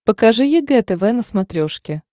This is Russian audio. покажи егэ тв на смотрешке